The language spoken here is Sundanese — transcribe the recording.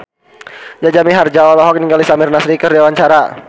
Jaja Mihardja olohok ningali Samir Nasri keur diwawancara